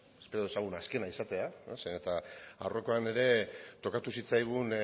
espero dezagun azkena izatea zeren eta aurrekoan ere tokatu zitzaigun